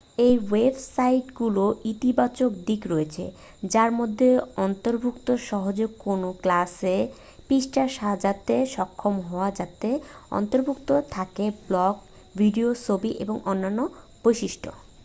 এই ওয়েবসাইটগুলোর ইতিবাচক দিক রয়েছে যার মধ্যে অন্তর্ভুক্ত সহজেই কোনও ক্লাসের পৃষ্ঠা সাজাতে সক্ষম হওয়া যাতে অন্তর্ভুক্ত থাকে ব্লগ ভিডিও ছবি এবং অন্যান্য বৈশিষ্ট্য